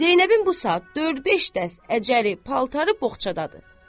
Zeynəbin bu saat dörd-beş dəst əcəvi paltarı boğçadadır.